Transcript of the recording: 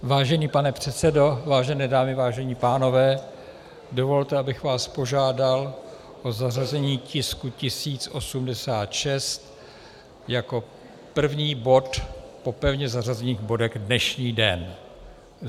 Vážený pane předsedo, vážené dámy, vážení pánové, dovolte, abych vás požádal o zařazení tisku 1086 jako první bod po pevně zařazených bodech dnešní den.